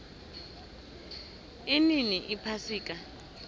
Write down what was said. inini iphasika